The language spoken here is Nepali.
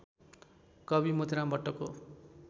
कवि मोतीराम भट्टको